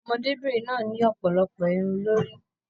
Ọmọdébinrin náà ni ọpọlọpọ Irun lórí.